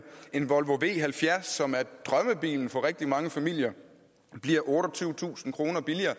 en volvo v70 som er drømmebilen for rigtig mange familier bliver otteogtyvetusind kroner billigere